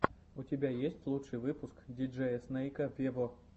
у тебя есть лучший выпуск диджея снейка вево